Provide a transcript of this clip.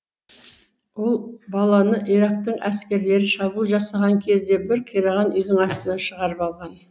ол баланы ирактың әскерлері шабуыл жасаған кезде бір қираған үйдің астынан шығарып алған